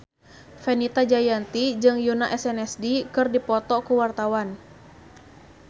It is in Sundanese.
Fenita Jayanti jeung Yoona SNSD keur dipoto ku wartawan